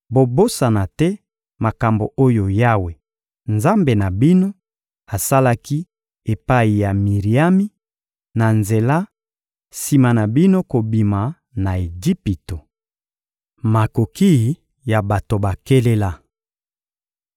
Bobosana te makambo oyo Yawe, Nzambe na bino, asalaki epai ya Miriami, na nzela, sima na bino kobima na Ejipito. Makoki ya bato bakelela